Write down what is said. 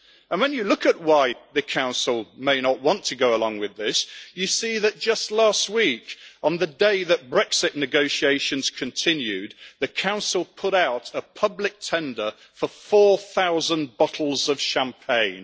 When you look at why the Council may not want to go along with this, you see that just last week, on the day that Brexit negotiations continued, the Council put out a public tender for 4000 bottles of champagne.